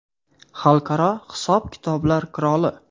Xalqaro hisob-kitoblar qiroli.